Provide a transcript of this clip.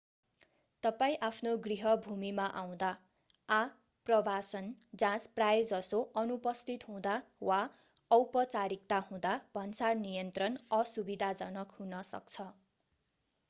तपाईं आफ्नो गृहभूमिमा आउँदा आप्रवासन जाँच प्रायजसो अनुपस्थित हुँदा वा औपचारिकता हुँदा भन्सार नियन्त्रण असुविधाजनक हुन सक्छ